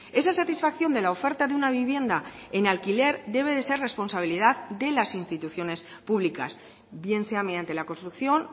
esa satisfacción de la oferta de una vivienda en alquiler debe de ser responsabilidad de las instituciones públicas bien sea mediante la construcción